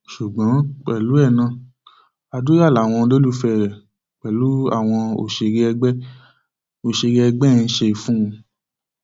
ṣùgbọn pẹlú ẹ náà àdúrà làwọn olólùfẹ rẹ pẹlú àwọn òṣèré ẹgbẹ òṣèré ẹgbẹ ẹ ń ṣe fún un